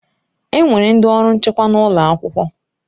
Enwere ndị ọrụ nchekwa n'ụlọ akwụkwọ